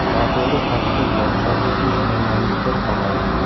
Noto‘g‘ri talqin va chop etish tanganing bir tomoni.